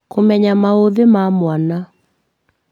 Kũmenya maũthĩ ma mwana